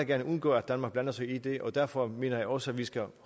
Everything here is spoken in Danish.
gerne undgå at danmark blander sig i det og derfor mener jeg også at vi skal